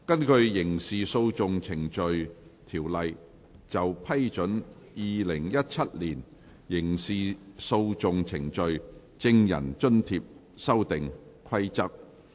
根據《刑事訴訟程序條例》就批准《2017年刑事訴訟程序規則》而動議的擬議決議案。